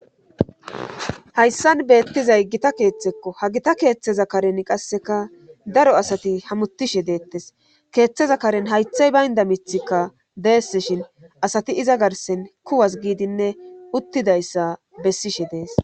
Hayssan beettizay gita keeththekko ha gita keeththeza karen qasseka daro asati hamutishe deettes keeththeza karen haythay baynda mithikka deese shin asati iza garsen kuwas giidinne uttidayssa bessishe dees.